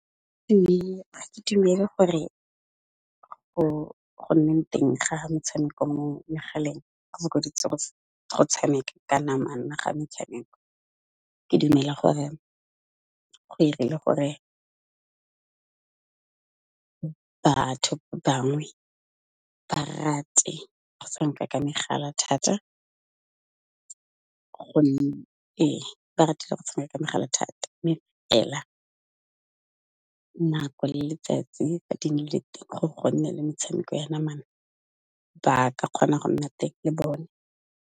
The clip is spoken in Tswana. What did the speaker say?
Ha ke dumele gore go nne teng ga metshameko mo megaleng go go tshameka ka namana ga metshameko. Ke dumela gore ke 'irile gore, batho bangwe ba rate go tshameka ka megala thata gonne ba ratile go tshameka ka megala thata mme fela, nako le letsatsi fa di nnile teng gore go nne le metshameko ya namana ba ka kgona go nna teng le bone.